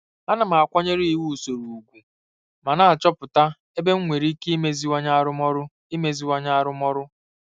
Ana m akwanyere iwu usoro ùgwù ma na-achọpụta ebe enwere ike imeziwanye arụmọrụ. imeziwanye arụmọrụ.